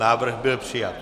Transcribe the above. Návrh byl přijat.